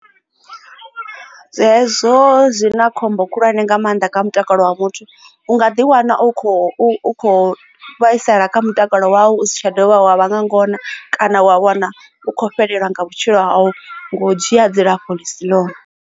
Hezwo zwi na khombo khulwane nga maanḓa kha mutakalo wa muthu u nga ḓi wana u khou kho vhaisala kha mutakalo wau u si tsha dovha wa vha nga ngona kana wa wana u khou fhelelwa nga vhutshilo hau nga u dzhia dzilafho ḽisi ḽone.